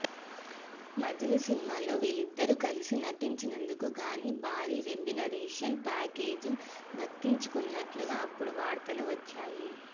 మజిలీ సినిమాలో వీరిద్దరు కలిసి నటించినందుకు గాను భారీ రెమ్యూనరేషన్ ప్యాకేజ్ను దక్కించుకున్నట్లుగా అప్పుడు వార్తలు వచ్చాయి